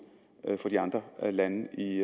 for de andre lande i